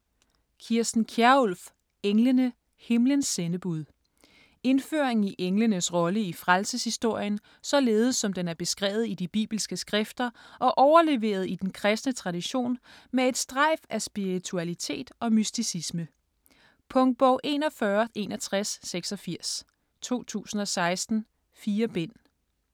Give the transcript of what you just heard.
Kjærulff, Kirsten: Englene: himlens sendebud Indføring i englenes rolle i frelseshistorien, således som den er beskrevet i de bibelske skrifter og overleveret i den kristne tradition med et strejf af spiritualitet og mysticisme. Punktbog 416186 2016. 4 bind.